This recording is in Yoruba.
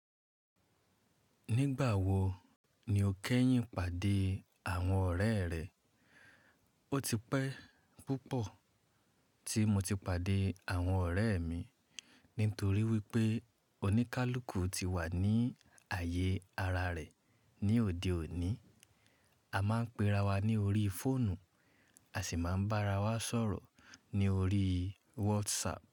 Nígbà wo ni o kẹ́yìn pàdé àwọn ọ̀rẹ́ rẹ? Ó ti pẹ́ púpọ̀ tí mo ti pàdé àwọn ọ̀rẹ́ mi nítorí wípé oníkálukú ti wà ní ààyè ara rẹ̀ ní òde òní. A máa ń pera wa ní orí fóònù, a sì máa ń bá ara wa sọ̀rọ̀ ní orí WhatsApp.